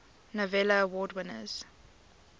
novello award winners